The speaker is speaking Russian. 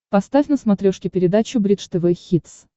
поставь на смотрешке передачу бридж тв хитс